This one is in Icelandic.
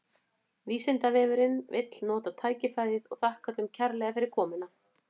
Vísindavefurinn vill nota tækifærið og þakka öllum kærlega fyrir komuna!